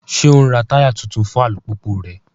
Ṣe o n rá taya tuntun fún alupupu rẹ?